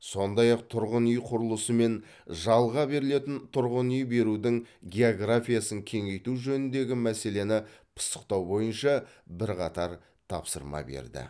сондай ақ тұрғын үй құрылысы мен жалға берілетін тұрғын үй берудің географиясын кеңейту жөніндегі мәселені пысықтау бойынша бірқатар тапсырма берді